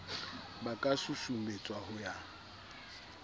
ba ka susumetswa ho ya